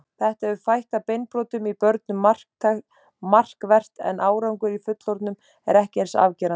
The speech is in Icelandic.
Þetta hefur fækkað beinbrotum í börnum markvert en árangur í fullorðnum er ekki eins afgerandi.